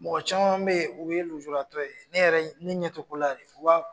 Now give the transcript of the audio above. Mɔgɔ caman bɛ ye u ye lujuratɔ ye, ne yɛrɛ ne ɲɛ tɛ ko la yɛrɛ.